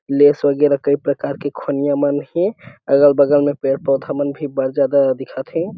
Lay's वगेरा कई प्रकार के खोनिया मन है अगल बगल में पेड़ पौधा मन भी बढ़ ज्यादा दिखा थे।